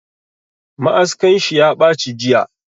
Ma'askan shi ya baci jiya